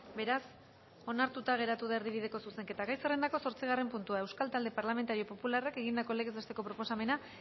beraz onartuta geratu da erdibideko zuzenketa gai zerrendako zortzigarren puntua euskal talde parlamentario popularrak egindako legez besteko proposamena